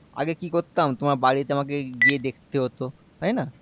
আগে কি করতাম তোমার বাড়িতে আমাকে গিয়ে আমাকে গিয়ে দেখতে হতো তাইনা